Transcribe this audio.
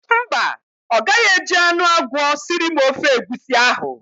Mba, ọ gaghị eji anụ agwọ siri m ofe egwusi ahụ.